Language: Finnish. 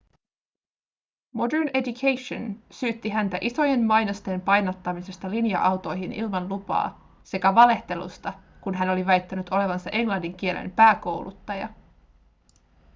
modern education syytti häntä isojen mainosten painattamisesta linja-autoihin ilman lupaa sekä valehtelusta kun hän oli väittänyt olevansa englannin kielen pääkouluttaja